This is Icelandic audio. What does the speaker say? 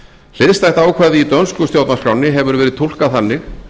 hliðstætt ákvæði í dönsku stjórnarskránni hefur verið túlkað þannig